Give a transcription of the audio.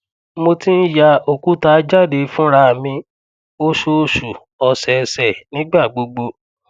mo ti n ya okuta jade funra mi oṣooṣu osese nigbagbogbo